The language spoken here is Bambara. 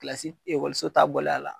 Kilasi ekɔliso ta bɔlen a la